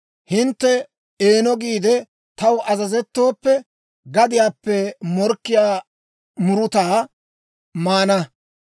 Hintte eeno giide, taw azazettooppe, gadiyaappe mokkiyaa murutaa maana.